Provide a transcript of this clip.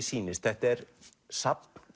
sýnist þetta er safn